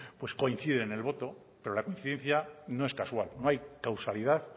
pues coinciden en el voto pero la coincidencia no es casual no hay causalidad